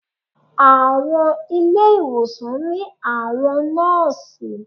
Àwọn ilé ìwòsàn ní àwọn Nóòsì